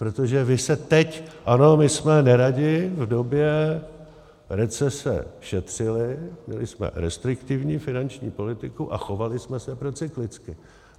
Protože vy se teď - ano, my jsme neradi v době recese šetřili, měli jsme restriktivní finanční politiku a chovali jsme se procyklicky.